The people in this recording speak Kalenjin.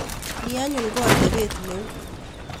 Ni anyun ko atepet neu.